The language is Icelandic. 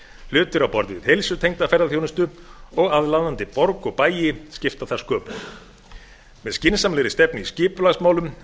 hlutir á borð við heilsutengda ferðaþjónustu og aðlaðandi borg og bæi skipta þar sköpum með skynsamlegri stefnu í skipulagsmálum